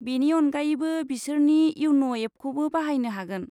बेनि अनगायैबो, बिसोरनि इयन' एपखौबो बाहायनो हागोन।